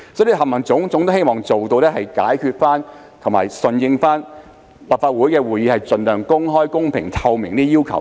凡此種種均希望解決有關問題，並順應立法會的會議盡量公開、公平、透明的要求。